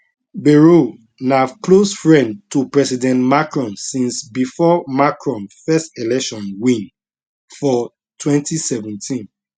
bayrou na close friend to president macron since bifor macron first election win for 2017